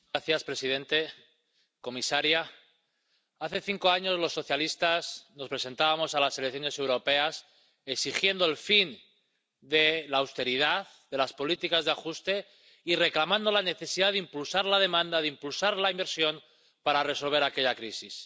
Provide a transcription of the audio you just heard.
Señor presidente, comisaria, hace cinco años, los socialistas nos presentábamos a las elecciones europeas exigiendo el fin de la austeridad, de las políticas de ajuste y reclamando la necesidad de impulsar la demanda, de impulsar la inversión para resolver aquella crisis.